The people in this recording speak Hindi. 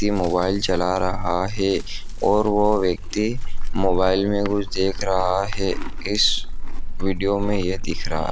ये मोबाइल चला रहा हैं और वह व्यक्ति मोबाइल मैं कुछ देख रहा हैं इस वीडियो मैं ये दिख रहा --